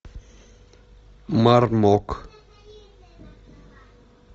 мармок